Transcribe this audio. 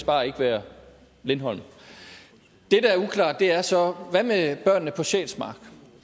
bare ikke være lindholm det der er uklart er så hvad med børnene på sjælsmark